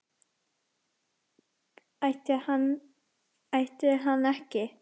Ætti hann ætti hann ekki?